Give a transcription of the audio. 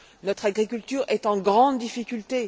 Notre agriculture est en grande difficulté.